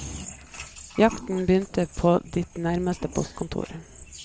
Jakten begynner på ditt nærmeste postkontor.